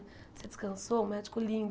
Você descansou, um médico lindo.